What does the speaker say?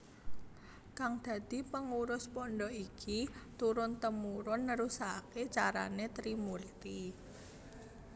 Kang dadi pengurus pondhok iki turun temurun nerusaké carané Trimurti